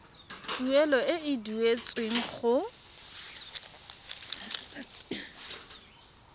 tuelo e e duetsweng go